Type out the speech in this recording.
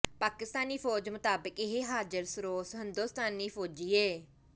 ਪਾਕਸਤਾਨੀ ਫ਼ੋਜ ਮਤਾਬਕ਼ ਏਹ ਹਾਜ਼ਰ ਸਰੋਸ ਹੰਦੋਸਤਾਨੀ ਫ਼ੋਜੀ ਏ